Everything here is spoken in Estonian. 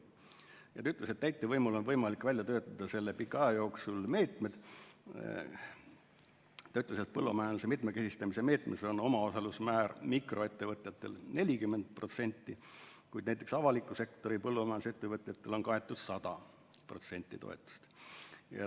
Ossinovski ütles, et täitevvõimul on võimalik välja töötada selle pika aja jooksul meetmed, põllumajanduse mitmekesistamise meetmes on omaosalusmäär mikroettevõtjatel 40%, kuid näiteks avaliku sektori põllumajandusettevõtjatel on kaetud 100% toetust.